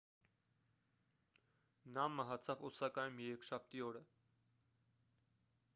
նա մահացավ օսակայում երեքշաբթի օրը